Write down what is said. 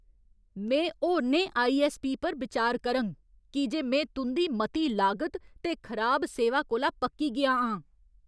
में होरनें आई.ऐस्स.पी. पर बिचार करङ की जे में तुं'दी मती लागत ते खराब सेवा कोला पक्की गेआ आं।